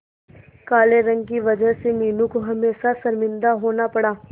काले रंग की वजह से मीनू को हमेशा शर्मिंदा होना पड़ा